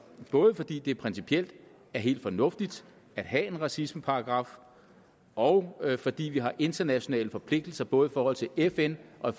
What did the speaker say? både fordi det principielt er helt fornuftigt at have en racismeparagraf og fordi vi har internationale forpligtelser både i forhold til fn og